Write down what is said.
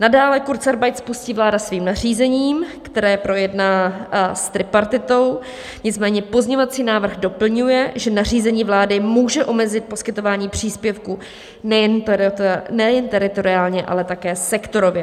Nadále kurzarbeit spustí vláda svým nařízením, které projedná s tripartitou, nicméně pozměňovací návrh doplňuje, že nařízení vlády může omezit poskytování příspěvku nejen teritoriálně, ale také sektorově.